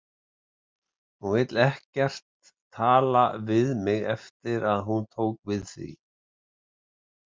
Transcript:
Hún vill ekkert tala við mig eftir að hún tók við því.